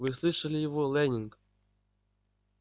вы слышали его лэннинг